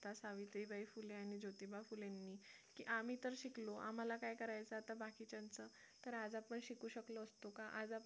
सावित्रीबाई फुले आणि ज्योतिबा फुले यांनी की आम्ही तर शिकलो आम्हाला काय करायचं आता बाकीच्यांचं तर आज आपण शिकू शकलो असतो का आज आपण